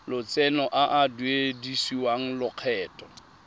lotseno a a duedisiwang lokgetho